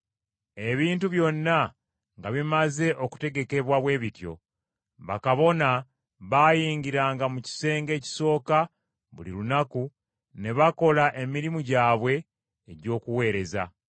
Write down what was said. Ebintu byonna nga bimaze okutegekebwa bwe bityo, bakabona baayingiranga mu kisenge ekisooka buli lunaku ne bakola emirimu gyabwe egy’okuweereza.